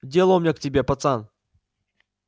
дело у меня к тебе пацан